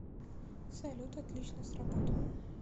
салют отлично сработано